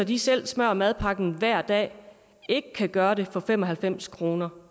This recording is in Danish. de selv smører madpakken hver dag ikke kan gøre det for fem og halvfems kroner